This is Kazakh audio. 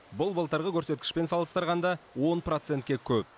бұл былтырғы көрсеткішпен салыстырғанда он процентке көп